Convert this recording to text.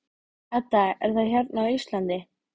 Edda: Er það hérna á Íslandi?